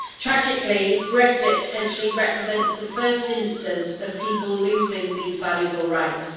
Tragically, Brexit potentially represents the first instance of people losing these valuable rights.